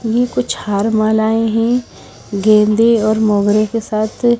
ये कुछ हार मालाएं हैं गेंदे और मोगरे के साथ--